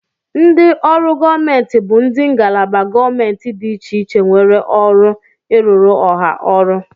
Ndị ọrụ gọọmenti bụ ndị ngalaba gọọmentị dị iche iche nwee ọrụ ịrụrụ Ọha ọrụ.